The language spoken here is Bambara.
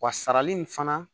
Wa sarali nin fana